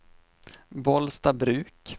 Bollstabruk